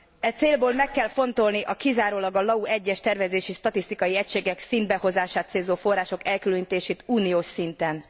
E célból meg kell fontolni a kizárólag a LAU egyes tervezési statisztikai egységek szintbehozását célzó források elkülönítését uniós szinten.